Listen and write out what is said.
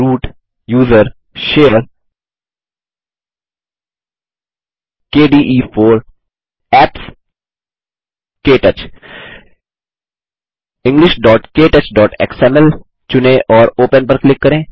root gtusr gtshare gtkde4 gtapps जीटीकेटच englishktouchएक्सएमएल चुनें और ओपन पर क्लिक करें